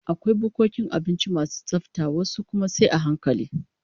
Akwai bukkokin abinci masu tsafta, wasu kuma sai a hankali